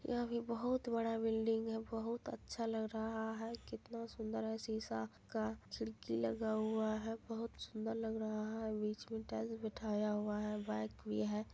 यह भी बहुत बड़ा बिल्डिंग है। बहुत अच्छा लग रहा है| कितना सुन्दर है शीशा का खिड़की लगा हुआ है बहुत सुन्दर लग रहा है| बीच में टाइल्स बिठाया हुआ है बाइक भी है।